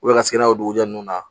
ka se n'a ye o dugujɛ ne na